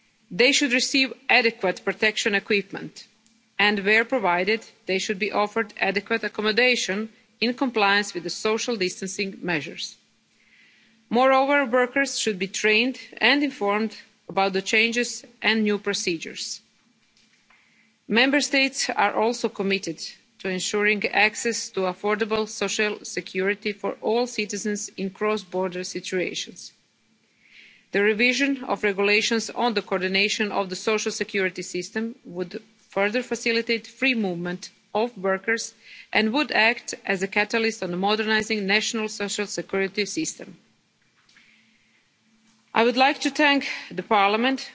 Member State. They should receive adequate protection equipment and, where provided, they should be offered adequate accommodation in compliance with social distancing measures. Moreover, workers should be trained and informed about changes and new procedures. Member States are also committed to ensuring access to affordable social security for all citizens in cross-border situations. The revision of regulations on the coordination of the social security system would further facilitate the free movement of workers and would act as a catalyst for modernising the national social security system. I would like